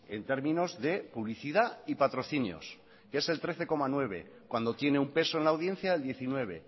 en términos de publicidad y patrocinios que es el trece coma nueve cuando tiene un peso en la audiencia del diecinueve